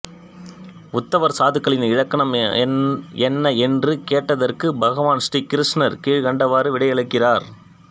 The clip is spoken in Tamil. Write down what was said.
உத்தவர் சாதுக்களின் இலக்கணம் என்ன என்று கேட்டதற்கு பகவான் ஸ்ரீ கிருஷ்ணர் கீழ்க்கண்டவாறு விடையளிக்கிறார்